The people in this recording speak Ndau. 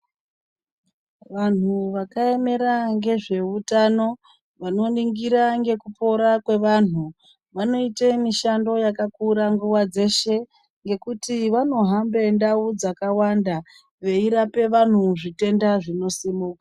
Vanhu vakaemera ngezveutano vanoningira ngekupora kwevanhu vanoite mishando yakakura nguwa dzeshe yekuti vanohambe ndau dzakawanda veirape vantu zvitenda zvinosimuka.